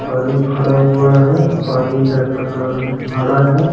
पानी फड़ा हुआ है पानी का कलर हड़ा है।